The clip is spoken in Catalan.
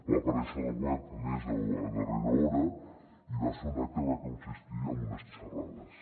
va aparèixer a la web a més a darrera hora i va ser un acte que va consistir en unes xerrades